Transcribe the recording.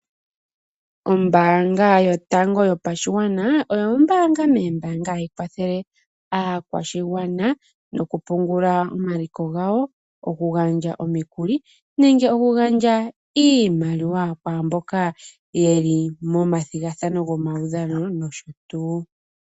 Ombaanga yotango yopashigwana oyo ombaanga moombaanga hayi kwathele aakwashigwana nokupungula omaliko gawo, okugandja omikuli nenge okugandja iimaliwa kwaamboka yeli momathigathano gomaudhano nosho tuu.